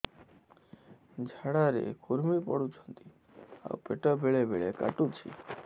ଝାଡା ରେ କୁର୍ମି ପଡୁଛନ୍ତି ଆଉ ପେଟ ବେଳେ ବେଳେ କାଟୁଛି